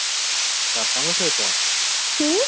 ବାପାଙ୍କ ସହିତ?